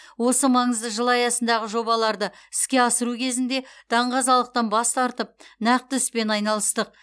осы маңызды жыл аясындағы жобаларды іске асыру кезінде даңғазалықтан бас тартып нақты іспен айналыстық